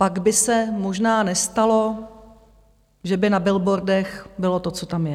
Pak by se možná nestalo, že by na billboardech bylo to, co tam je.